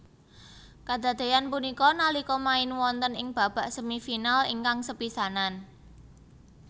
Kadadéyan punika nalika main wonten ing babak semifinal ingkang sepisanan